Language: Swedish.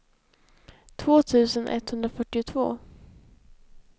två tusen etthundrafyrtiotvå